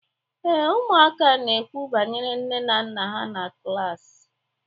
Ee, ụmụaka na-ekwu banyere nne na nna ha na klaasị.